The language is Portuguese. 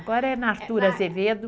Agora é na Artur Azevedo.